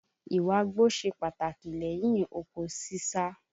Ìwágbó ṣe pàtàkì lẹ́yin oko ṣíṣá